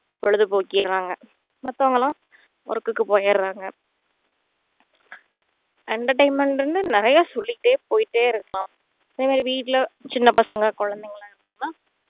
பொழுது போக்கியராங்க மத்தவங்க எல்லாம் work க்கு போயிருவாங்க entertainment ண்டு நிறைய சொல்லிக்கிட்டே போயிட்டே இருக்கலாம் எங்க வீட்டுல சின்ன பசங்க குழந்தைங்க எல்லாம் இருக்காங்க